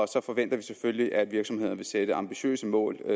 så forventer vi selvfølgelig at virksomhederne vil sætte ambitiøse mål